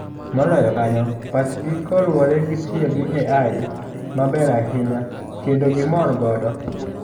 Moloyo kanyo, pachgi koluwore gi tiyo gi AI maber ahinya kendo gimor godo.